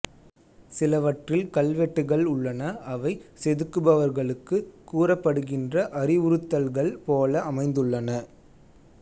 சிலவற்றில் கல்வெட்டுகள் உள்ளன அவை செதுக்குபவர்களுக்கு கூறப்படுகின்ற அறிவுறுத்தல்கள் போல அமைந்துள்ளன